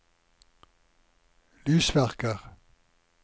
lysverker